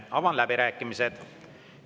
Avan läbirääkimised.